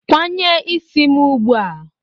Kwanye isi m ugbu a!